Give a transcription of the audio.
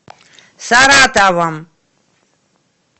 саратовом